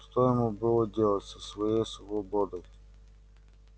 что ему было делать со своей свободой